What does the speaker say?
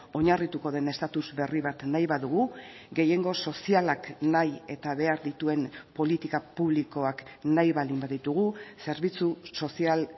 oinarrituko den estatus berri bat nahi badugu gehiengo sozialak nahi eta behar dituen politika publikoak nahi baldin baditugu zerbitzu sozial